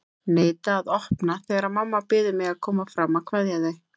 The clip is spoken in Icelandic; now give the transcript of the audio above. Neita að opna þegar mamma biður mig að koma fram að kveðja þau.